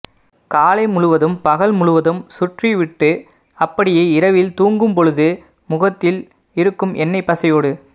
காலை முழுவதும் பகல் முழுவதும் சுற்றிவிட்டு அப்படியே இரவில் தூங்கும் பொழுது முகத்தில் இருக்கும் எண்ணெய் பசையோடு